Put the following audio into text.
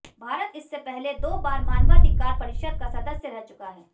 भारत इससे पहले दो बार मानवाधिकार परिषद का सदस्य रह चुका है